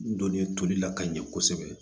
N donni tolila ka ɲɛ kosɛbɛ